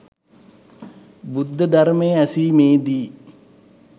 බුද්ධ ධර්මය ඇසීමේදී